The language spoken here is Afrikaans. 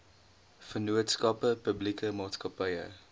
vennootskappe publieke maatskappye